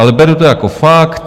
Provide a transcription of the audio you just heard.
Ale beru to jako fakt.